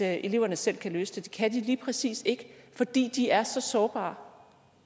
at eleverne selv kan løse det kan de lige præcis ikke fordi de er så sårbare